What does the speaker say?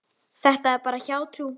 Þetta er bara hjátrú.